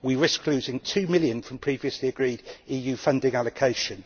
We risk losing two million from previously agreed EU funding allocation.